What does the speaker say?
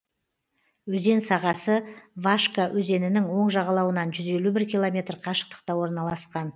өзен сағасы вашка өзенінің оң жағалауынан жүз елу бір километр қашықтықта орналасқан